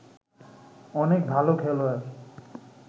অনেক ভাল খেলোয়াড়